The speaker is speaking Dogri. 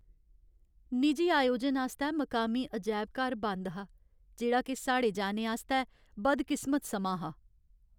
निजी आयोजन आस्तै मकामी अजैब घर बंद हा, जेह्ड़ा के साढ़े जाने आस्तै बदकिस्मत समां हा।